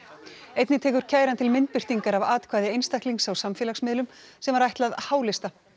einnig tekur kæran til myndbirtingar af atkvæði einstaklings á samfélagsmiðlum sem var ætlað h lista